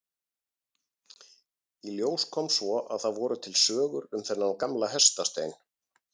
Í ljós kom svo að það voru til sögur um þennan gamla hestastein.